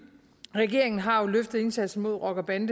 regeringen har jo løftet indsatsen mod rocker bande